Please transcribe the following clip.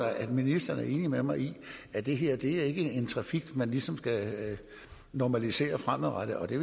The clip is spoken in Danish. at ministeren er enig med mig i at det her ikke er en trafik man ligesom skal normalisere fremadrettet og det